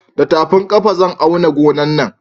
Da tafin ƙafa zan auna gonan nan